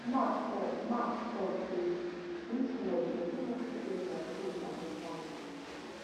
mark tok mark tok say dis world pesin no fit get dia cake and eat am